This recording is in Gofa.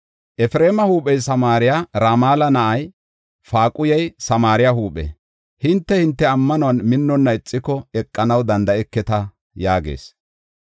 Efreema huuphey Samaariya; Ramala na7ay, Faaquhey Samaariya huuphe. Hinte, hinte ammanuwan minnonna ixiko, eqanaw danda7eketa” yaagees.